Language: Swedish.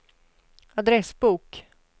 adressbok